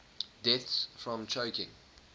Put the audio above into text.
deaths from choking